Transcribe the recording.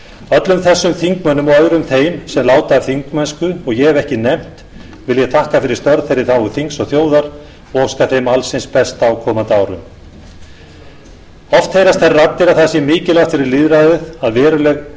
öllum þessum þingmönnum og öðrum þeim sem láta af þingmennsku og ég hef ekki nefnt vil ég þakka fyrir störf þeirra í þágu þings og þjóðar og óska þeim alls hins besta á komandi árum oft heyrast þær raddir að það sé mikilvægt fyrir lýðræðið að veruleg